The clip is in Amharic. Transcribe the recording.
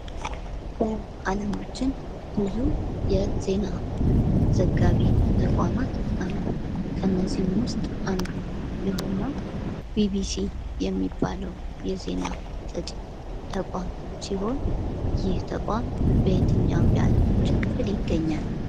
በአለማችን ብዙ የዜና ዘጋቢ ተቋማት አሉ። ከእነዚህም ውስጥ አንዱ የሆነው ቢቢሲ የሚባለው የዜና ሰጪ ተቋም ሲሆን፤ ይህ ተቋም በየትኛውም የዓለማችን ክፍል ይገኛል?